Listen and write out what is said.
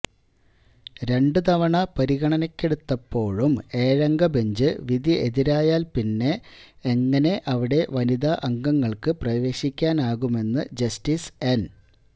രണ്ടുതവണ പരിഗണനയ്ക്കെടുത്തപ്പോഴും ഏഴംഗ ബെഞ്ച് വിധി എതിരായാല് പിന്നെ എങ്ങനെ അവിടെ വനിതാ അംഗങ്ങള്ക്ക് പ്രവേശിക്കാനാകുമെന്ന് ജസ്റ്റിസ് എന്